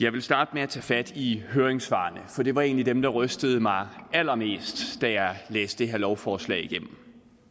jeg vil starte med at tage fat i høringssvarene for det var egentlig dem der rystede mig allermest da jeg læste det her lovforslag igennem